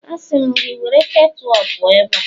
Asị m gị, were ketu a pụọ ebe a!